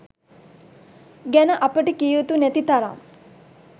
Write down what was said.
ගැන අපට කිය යුතු නැති තරම්